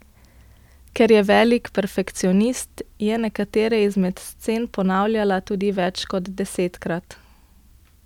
Ker je velik perfekcionist, je nekatere izmed scen ponavljala tudi več kot desetkrat.